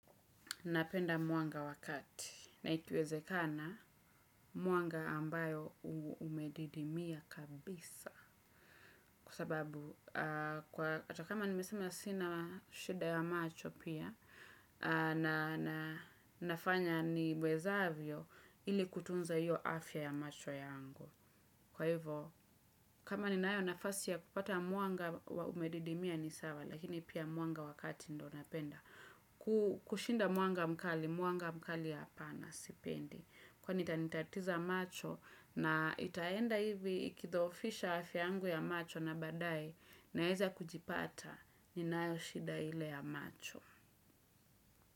Napenda mwanga wa kati. Na ikiwezekana, mwanga ambayo umedidimia kabisa. Kwa sababu, kwa hata kama nimesema sina shida ya macho pia, na nafanya niwezavyo, ili kutunza hiyo afya ya macho yangu. Kwa hivyo, kama ninayo nafasi ya kupata mwanga umedidimia ni sawa, lakini pia mwanga wakati ndo napenda. Kushinda mwanga mkali, mwanga mkali hapana, sipendi. Kwani itanitatiza macho. Na itaenda hivi ikidhoofisha afya yangu ya macho na baadae. Naeza kujipata, ninayo shida ile ya macho.